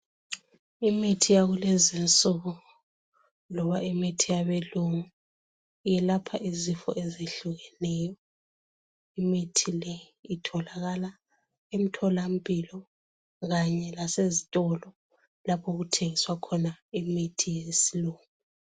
Imithi yakulezinsuku loba imithi yabelungu, iyelapha izifo ezehlukeneyo. Imithi le itholakala emtholampilo kanye lasezitolo okuthengiswa khona imithi yesilungu.